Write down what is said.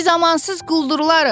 Bi zamansız quldurlarıq.